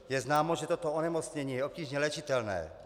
Je známo, že toto onemocnění je obtížně léčitelné.